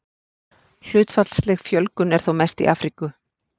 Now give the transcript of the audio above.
Hlutfallsleg fjölgun er þó mest í Afríku.